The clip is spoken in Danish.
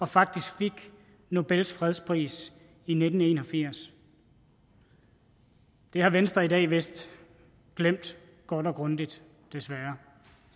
faktisk fik nobels fredspris i nitten en og firs det har venstre i dag vist glemt godt og grundigt desværre